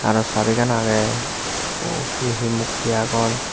aro sabegan agey he he mukti agon.